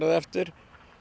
eftir